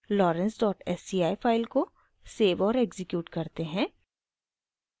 lorenz dot sci file को save और execute करते हैं